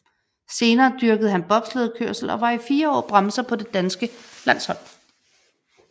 Senere dyrkede han bobslædekørsel og var i fire år bremser på det danske landshold